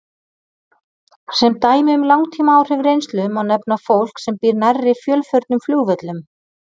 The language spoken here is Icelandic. Sem dæmi um langtímaáhrif reynslu má nefna fólk sem býr nærri fjölförnum flugvöllum.